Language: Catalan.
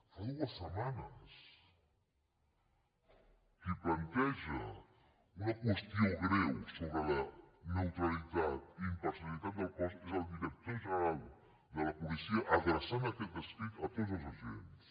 fa dues setmanes qui planteja una qüestió greu sobre la neutralitat i imparcialitat del cos és el director general de la policia adreçant aquest escrit a tots els agents